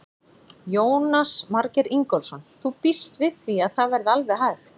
Jónas Margeir Ingólfsson: Þú býst við því að það verði alveg hægt?